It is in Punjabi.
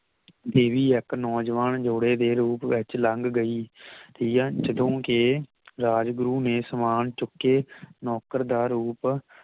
ਦੇਵੀ ਇੱਕ ਨੌਜਵਾਨ ਜੋੜੇ ਦੇ ਰੂਪ ਵਿਚ ਲੰਘ ਗਈ ਠੀਕ ਏ ਜਦੋਂ ਕੇ ਰਾਜਗੁਰੂ ਨੇ ਸਮਾਂ ਚੁੱਕੇ ਨੌਕਰ ਦਾ ਰੂਪ